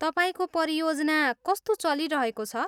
तपाईँको परियोजना कस्तो चलिरहेको छ?